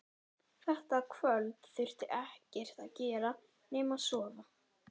Þetta kvöld þurfti ekkert að gera nema sofa.